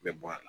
Bɛ bɔ a la